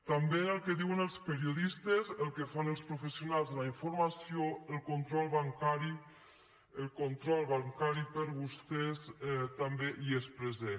també en el que diuen els periodistes el que fan els professionals de la informació el control bancari per vostès també hi és present